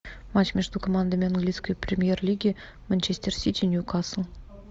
матч между командами английской премьер лиги манчестер сити ньюкасл